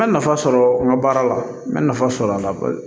N bɛ nafa sɔrɔ n ka baara la n bɛ nafa sɔrɔ a la